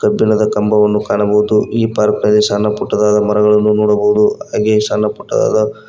ಕಬ್ಬಿಣದ ಕಂಬವನ್ನು ಕಾಣಬಹುದು ಈ ಪಾರ್ಕ್ ನಲ್ಲಿ ಸಣ್ಣ ಪುಟ್ಟದಾದ ಮರಗಳನ್ನು ನೋಡಬಹುದು ಹಾಗೆ ಸಣ್ಣ ಪುಟ್ಟದಾದ--